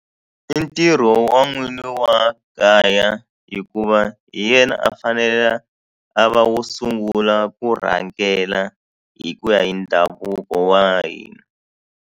I ntirho wa nwini wa kaya hikuva hi yena a fanele a va wo sungula ku rhangela hi ku ya hi ndhavuko wa hina.